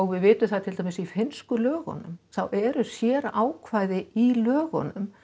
við vitum það til dæmis í finnsku lögunum þá eru sérákvæði í lögunum